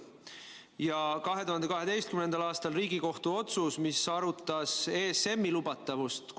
Ja teine on 2012. aastal tehtud Riigikohtu otsus, milles arutati ESM-i lubatavust.